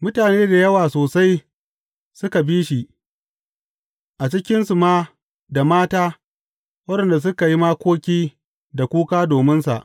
Mutane da yawa sosai suka bi shi, a cikinsu ma da mata waɗanda suka yi makoki da kuka dominsa.